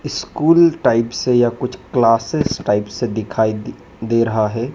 School type से या कुछ क्लासेस टाइप से दिखाई दे रहा है।